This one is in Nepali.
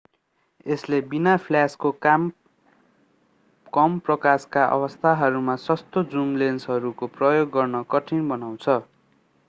यसले बिना फ्ल्याशको कम प्रकाशका अवस्थाहरूमा सस्तो जुम लेन्सहरूको प्रयोग गर्न कठिन बनाउँछ